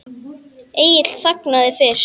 Egill þagnar fyrst.